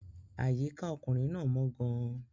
Àyíká ọkùnrin náà mọ́ gan-an.